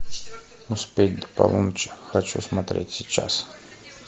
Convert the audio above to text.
успеть до полуночи хочу смотреть сейчас